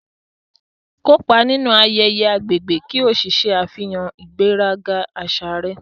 Kópa nínú ayẹyẹ agbègbè ki o ṣe àfihàn ìgbéraga àṣà rẹ.